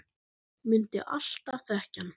Mundi alltaf þekkja hann.